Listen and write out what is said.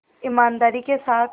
ईमानदारी के साथ